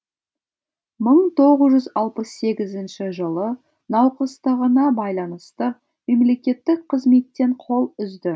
мың тоғыз жүз алпыс сегізінші жылы науқастығына байланысты мемлекеттік қызметтен қол үзді